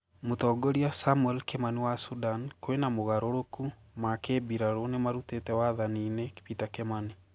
Mũtongoria samuell kimani wa sudani kwĩna Mogarũrũku ma kĩmbirarũ nĩmarutĩte wathani-inĩ Peter Kimani